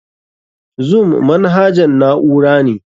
Zoom manahajan na'ura ne.